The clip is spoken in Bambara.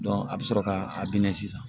a bɛ sɔrɔ ka a minɛ sisan